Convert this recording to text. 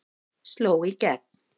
Sló í gegn